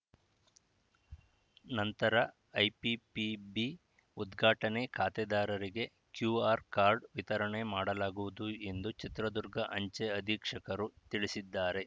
ನಂತರ ಐಪಿಪಿಬಿ ಉದ್ಘಾಟನೆ ಖಾತೆದಾರರಿಗೆ ಕ್ಯೂಆರ್‌ ಕಾರ್ಡ್‌ ವಿತರಣೆ ಮಾಡಲಾಗುವುದು ಎಂದು ಚಿತ್ರದುರ್ಗ ಅಂಚೆ ಅಧೀಕ್ಷಕರು ತಿಳಿಸಿದ್ದಾರೆ